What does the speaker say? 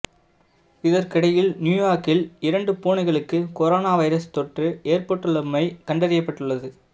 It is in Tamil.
இதற்கிடையில் நியூயோக்கில் இரண்டு பூனைகளுக்கு கொரோனா வைரஸ் தொற்று ஏற்பட்டுள்ளமை கண்டறியப்பட்டுள்ளது